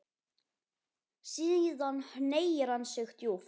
Síðan hneigir hann sig djúpt.